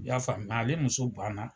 I y'a faamuya ale muso banna.